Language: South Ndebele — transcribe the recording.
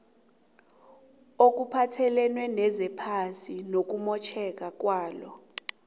okuphathelene nezephasi nokumotjheka kwalo